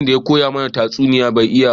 Wanda ya koya mana tatsuniya bai iya ba